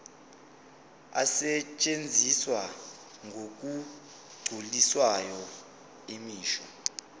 asetshenziswa ngokugculisayo imisho